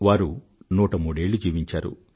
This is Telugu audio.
వారు నూట మూడేళ్లు జీవించారు